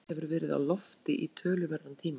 Nafn Einars hefur verið á lofti í töluverðan tíma.